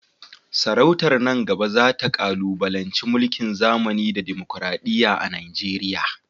Sarautar nan gaba za ta kalubalanci mulkin zamani da dimokuradiyya a Najeriya.